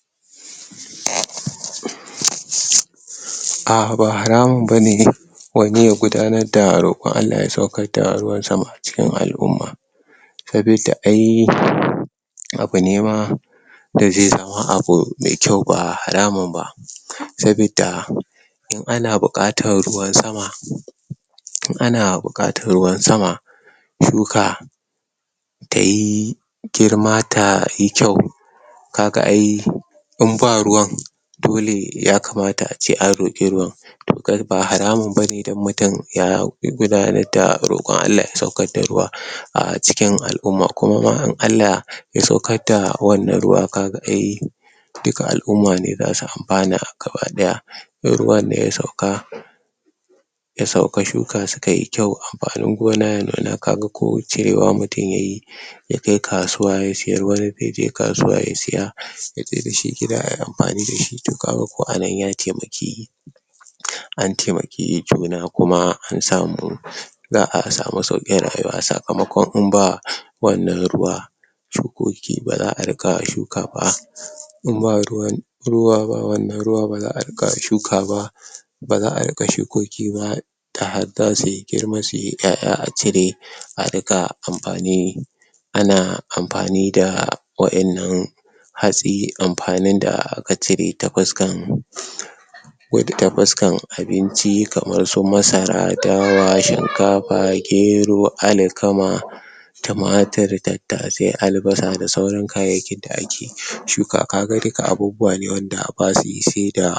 uhmmm ah ba haramun bane wani ya gudanar da roƙon Allah ya saukar da ruwan sama a cikin al'umma saboda ai abu ne ma da zai zama abu mai kyau ba haramun ba saboda in ana buƙatar ruwan sama in ana buƙatar ruwan sama shuka tayi girma tayi kyau kaga ai in ba ruwan dole ya kamata ace an roƙi ruwan to kagan ba haramun bane don mutum ya gudanar da roƙon Allah ya saukar da ruwa a cikin al'umma. Kuma ma in Allah ya saukar da wannan ruwa kaga ai duka al'umma ne zasu amfana gaba ɗaya in ruwan nan ya sauka ya sauka, shuka sukayi kyau amfanin gona ya nuna, kaga ko cirewa mutum yayi ya kai kasuwa ya siyar, wani yaje kasuwa ya siya yaje dashi gida ayi amfani dashi, to kaga ko a nan ya taimaki an taimaki juna kuma an samu za'a sami sauƙin rayuwa, sakamakon in ba wannan ruwa shukoki baza a riƙa shuka ba in ba ruwan ruwa ba wannan ruwa baza a ƙara shuka ba baza a riƙa shukoki ba da har zasuyi girma, suyi ƴaƴa a cire a riƙa amfani ana amfani da wa innan hatsi amfanin da aka cire ta fuskar wato ta fuskan abinci kamar su masara, dawa, shinkafa, gero, alkama tumatir, tattasai, albasa da sauran kayayyakin da ake shuka. Kaga duka abubuwa ne wanda basuyi saida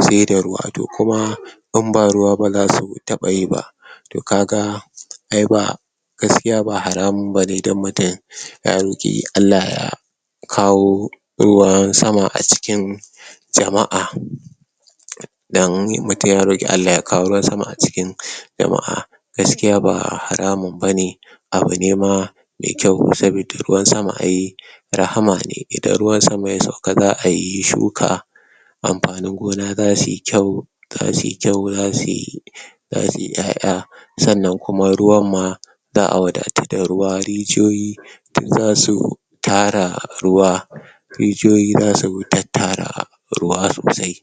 se da se da ruwa, to kuma in ba ruwa baza su taɓa yi ba to kaga ai ba gaskiya ba haramun bane don mutum ya ya roƙi Allah ya kawo ruwan sama a cikin jama'a don mutum ya roƙi Allah ya kawo ruwan sama a cikin jama'a gaskiya ba haramun bane abu ne ma me kyau, saboda ruwan sama ai rahama ne. Idan ruwan sama ya sauka za'ayi shuka amfanin gona zasuyi kyau zasuyi kyau, za suyi zasu ƴaƴa sannan kuma ruwan ma za'a wadatu da ruwa. Rijiyoyi duk zasu tara ruwa rijiyoyi zasu ringa tattara ruwa sosai